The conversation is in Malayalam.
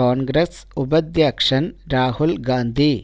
കോണ്ഗ്രസ് ഉപാധ്യക്ഷന് രാഹുല് ഗാന്ധി